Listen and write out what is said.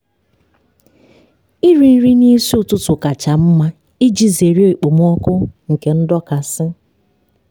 iri nri n'isi ụtụtụ kacha mma iji zere okpomọkụ nke ndọkasị